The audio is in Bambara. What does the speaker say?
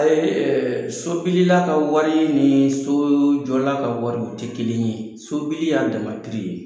sobilila ka wari ni sojɔla ka wari o tɛ kelen ye sobili y'a dama ye.